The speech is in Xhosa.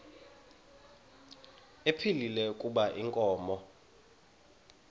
ephilile kuba inkomo